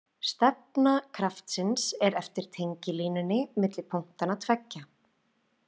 Stefna kraftsins er eftir tengilínunni milli punktanna tveggja.